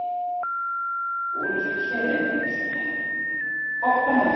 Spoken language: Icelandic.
Úlfhéðinn, viltu hoppa með mér?